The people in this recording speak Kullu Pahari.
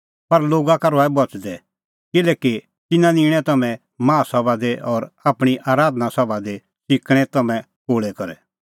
पर लोगा का रहै बच़दै किल्हैकि तिन्नां निंणै तम्हैं माहा सभा दी और आपणीं आराधना सभा दी च़िकणैं तम्हैं कोल़ै करै